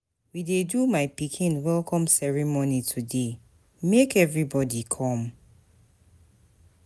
We dey do my pikin welcome ceremony today, make everybody come.